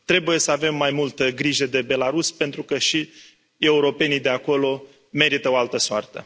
Trebuie să avem mai multă grijă de Belarus, pentru că și europenii de acolo merită o altă soartă.